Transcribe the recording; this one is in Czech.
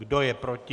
Kdo je proti?